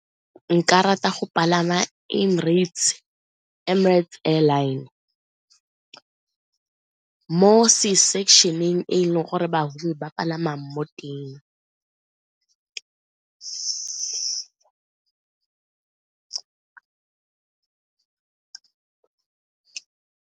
Nka rata go palama Emirates Airline, mo e leng gore bahumi ba a palama mo teng.